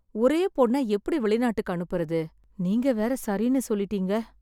ஒரே பொண்ண எப்படி வெளிநாட்டுக்கு அனுப்புறது? நீங்க வேற சரின்னு சொல்லிட்டீங்க.